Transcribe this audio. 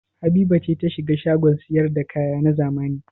Habiba ce ta shiga shagon sayar da kaya na zamani?